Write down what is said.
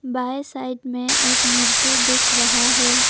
By side में एक मूर्ति दिख रहा है।